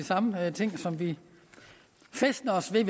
samme ting som vi fæstner os ved i